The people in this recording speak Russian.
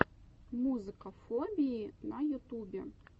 музыка фобии на ютубе